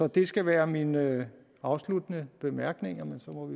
det skal være mine afsluttende bemærkninger